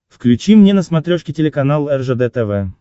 включи мне на смотрешке телеканал ржд тв